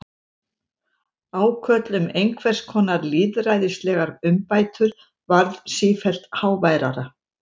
Ákall um einhvers konar lýðræðislegar umbætur varð sífellt háværara.